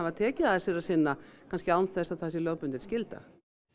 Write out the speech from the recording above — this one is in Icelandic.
tekið að sér að sinna kannski án þess að það sé lögbundin skylda